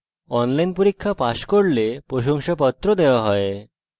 যারা online পরীক্ষা pass করে তাদের প্রশংসাপত্র certificates ও দেওয়া হয়